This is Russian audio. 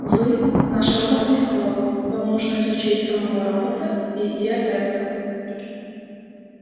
вы наш робопсихолог вам нужно изучить самого робота и идти от этого